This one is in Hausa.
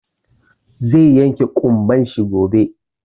Zai yanke ƙumban shi gobe.